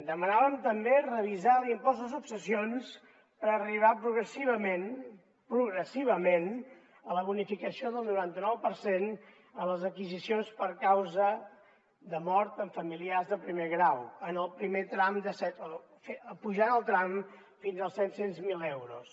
demanàvem també revisar l’impost de successions per arribar progressivament progressivament a la bonificació del noranta nou per cent a les adquisicions per causa de mort amb familiars de primer grau apujant el tram fins als set cents miler euros